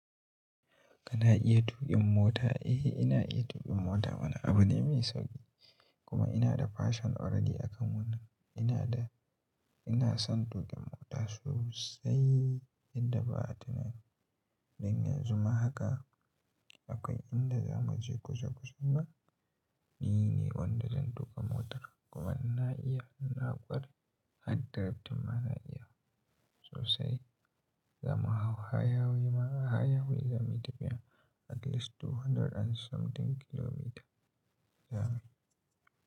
Kana iya tuƙin mota? Eh, ina iya tuƙin mota mana abu ne mai sauƙi. Eh, ina iya tuƙin mota mana abu ne mai sauƙi ina da, ina son tukin mota sosai yadda ba'a tunanin don yanzu ma haka, akwai inda zamuje kusa kusan nan ni ne wanda zai tuka motar domin na iya, na kware har draft ɗin ma na iya sosai zamu hau hanyoyi-hanyoyin ma hanyoyin zamuyi tafiya at least two hundred and something kilometers, zamuyi.